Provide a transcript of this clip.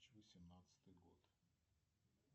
восемнадцатый год